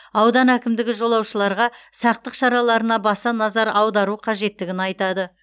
аудан әкімдігі жолаушыларға сақтық шараларына баса назар аудару қажеттігін айтады